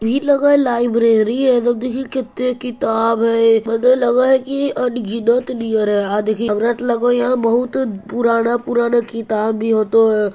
इ लग हई लाइब्रेरी हई एकदम देखहि केते किताब हई मने लगा हई की अनगिनत नियर हई अ देखी हमरा तो लगा हई यहां बहुत पुराना पुराना किताब भी होतो |